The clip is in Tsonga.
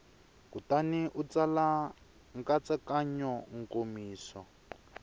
kutani u tsala nkatsakanyo nkomiso